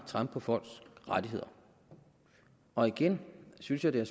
trampe på folks rettigheder og igen synes jeg det